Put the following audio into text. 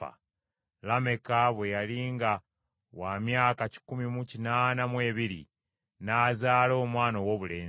Lameka bwe yali nga wa myaka kikumi mu kinaana mu ebiri n’azaala omwana owoobulenzi